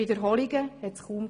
Wiederholungen gab es kaum.